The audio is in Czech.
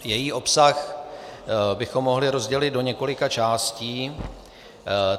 Její obsah bychom mohli rozdělit do několika částí.